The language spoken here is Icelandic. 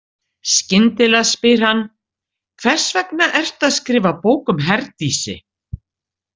Skyndilega spyr hann: Hvers vegna ertu að skrifa bók um Herdísi?